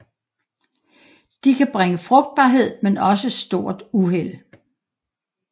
De kan bringe frugtbarhed men også stort uheld